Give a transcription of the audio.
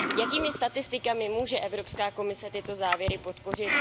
Jakými statistikami může Evropská komise tyto závěry podpořit?